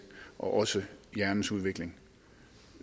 og også af hjernens udvikling